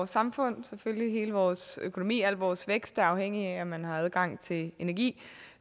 samfund hele vores økonomi og al vores vækst er afhængige af om man har adgang til energi